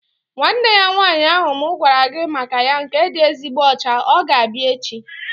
Nwanne ya nwaanyị ahụ mụ gwara gị maka ya nke dị ezigbo ọcha, ọ g-abịa echi